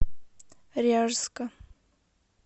ряжска